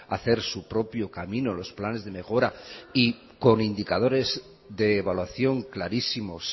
a hacer su propio camino los planes de mejora y con indicadores de evaluación clarísimos